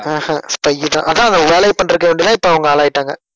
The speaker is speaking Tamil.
அஹ் ஹம் spy தான் அதான் அந்த வேலைய பண்றதுக்கவேண்டிதான் இப்ப அவங்க ஆளாயிட்டாங்க